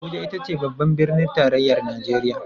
Abuja ita ce babbar Birnin Tarayyar Najeriya